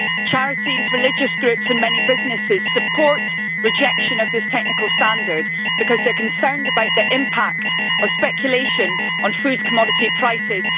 Charities, religious groups and many businesses support rejection of this technical standard because they are concerned about the impact of speculation on food commodity prices.